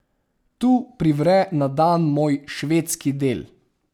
Tu privre na dan moj švedski del.